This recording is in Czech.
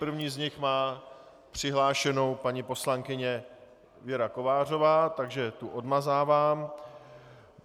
První z nich má přihlášenou paní poslankyně Věra Kovářová, takže tu odmazávám.